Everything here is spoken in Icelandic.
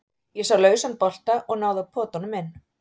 Ég sá lausan bolta og náði að pota honum inn.